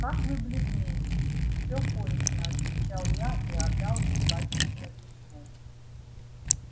как вы бледны всё кончено отвечал я и отдал ей батюшкино письмо